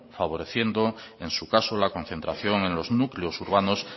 favoreciendo en su caso la concentración en los núcleos urbanos